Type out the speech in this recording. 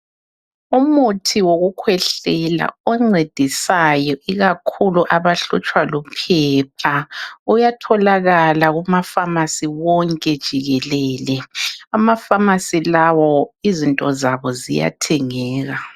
Umuthi wokukhwehlela oncedisayo ikakhulu abahlutshwa liphepha uyatholakala kuma"pharmacy " wonke jikelele. Ama"pharmacy " lawo izinto zabo ziyathengeka.